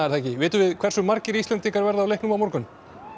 það ekki vitum við hversu margir Íslendingar verða á leiknum á morgun